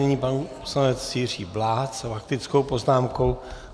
Nyní pan poslanec Jiří Bláha s faktickou poznámkou.